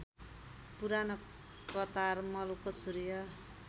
पुरानो कतारमलको सूर्य